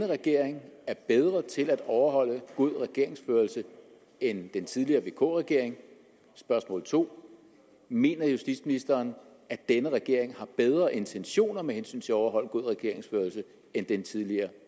regering er bedre til at overholde god regeringsførelse end den tidligere vk regering spørgsmål 2 mener justitsministeren at denne regering har bedre intentioner med hensyn til at overholde god regeringsførelse end den tidligere